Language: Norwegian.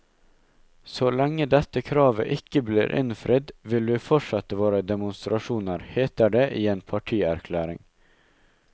Så lenge dette kravet ikke blir innfridd, vil vi fortsette våre demonstrasjoner, heter det i en partierklæring.